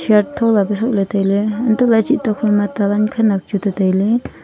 thola pa shoh lahley tailey untohley cheh tokphai ma ta wan khenak chu tetailey.